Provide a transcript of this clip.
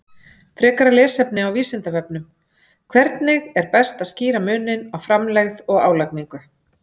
Frekara lesefni á Vísindavefnum: Hvernig er best að skýra muninn á framlegð og álagningu.